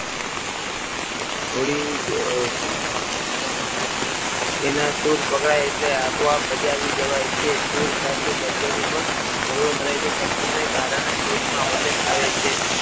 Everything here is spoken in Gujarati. થોડી તેના સુર પકડાય એટલે આપોઆપ બચાવી દેવાય છે સુર સાથે શબ્દની પણ શરૂઆત રહે છે શબ્દને કારણે સૂરમાં વજન આવે છે.